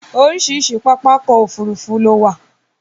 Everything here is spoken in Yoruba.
Oríṣiríṣi pápákọ̀ òfurufú ló wà.